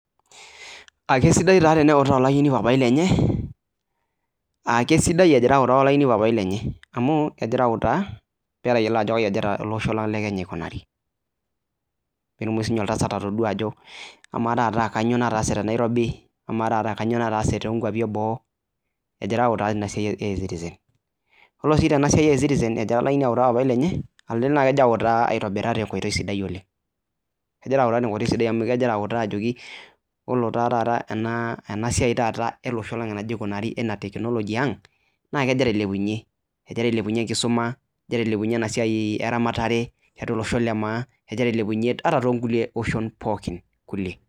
Aa kesidai taa teneutaa olayioni papai lenye aa kesidai ejira autaa olayioni papai lenye amu ejira autaa peelo ayiolo ajo kai ejira ele osho lang' le Kenya aikunari peetumoki sinye oltasat atodua ajo amaa taata kanyo nataase te Nairobi , amaa taata kanyo nataase too nkuapi e boo ejira autaa tina siai e e citizen. Olo oshi tena siai e e citizen ejira olayioni autaa papai lenye elelek nai ejo ejira autaa te nkoitoi sidai oleng'. Ejira autaa te nkoitoi sidai amu ejira autaa ajoki yiolo taa taata ena ena siai taata ele osho lang' enajira aikunari enaa teknology aang' naa kejira ailepunye ejira ailepunye enkisuma, ejira ailepunye ena siai eramatare tiatua olosho le maa, ejira ailepunye ata too nkulie oshon pookin kulie.